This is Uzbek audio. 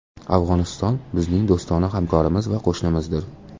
Afg‘oniston – bizning do‘stona hamkorimiz va qo‘shnimizdir.